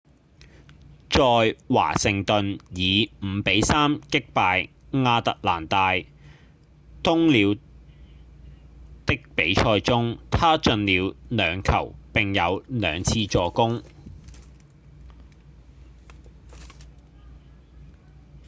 在華盛頓以五比三擊敗亞特蘭大鶇鳥的比賽中他進了兩球並有兩次助攻